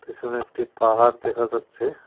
পিছনে একটি পাহাড় দেখা যাচ্ছে।